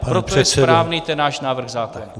Proto je správný ten náš návrh zákona.